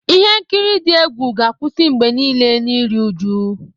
Ihe nkiri dị egwu ga-akwụsị mgbe niile na iru uju.